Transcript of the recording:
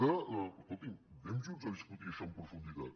escolti’m anem junts a discutir això amb profunditat